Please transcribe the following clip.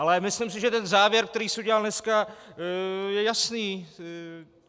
Ale myslím si, že ten závěr, který se udělal dneska, je jasný.